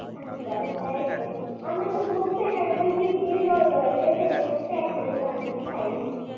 আচ্ছা আচ্ছা একদম আপনি আমারে বলছেন জিভ দিয়ে জল গড়াইতেছে মনে হয়েছে এখনই বানায় খাই নি